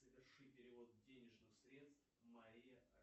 соверши перевод денежных средств мария